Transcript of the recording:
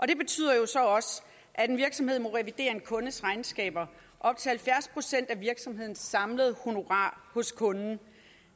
det betyder jo så også at en virksomhed må revidere en kundes regnskaber op til halvfjerds procent af virksomhedens samlede honorar hos kunden